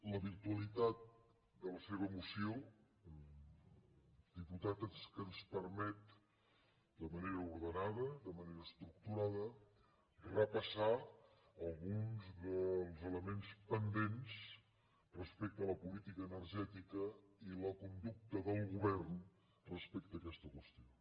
la virtualitat de la seva moció diputat és que ens permet d’una manera ordenada d’una manera estructurada repassar alguns dels elements pendents respecte a la política energètica i la conducta del govern respecte a aquesta qüestió